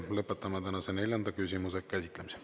Lõpetame tänase neljanda küsimuse käsitlemise.